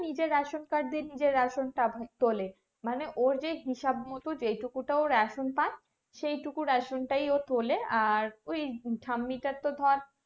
নিজের ration card নিজের ration তোলে মানে ওর যে হিসাব মতো যেটুকু ও ration পাই সেইটুকু ration টাই ও তোলে আর ওই ঠাম্মি টার তো ধর